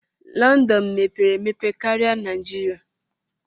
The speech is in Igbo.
London mepere emepe karia Naijiria.